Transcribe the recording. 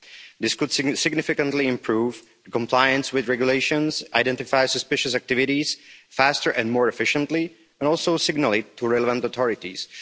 This could significantly improve compliance with regulations, identify suspicious activities faster and more efficiently, and also signal them to the relevant authorities.